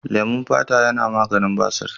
Leman fata yana maganin basir.